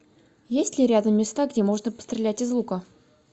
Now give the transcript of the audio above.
есть ли рядом места где можно пострелять из лука